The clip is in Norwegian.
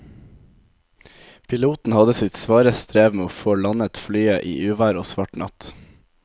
Piloten hadde sitt svare strev med å få landet flyet i uvær og svart natt.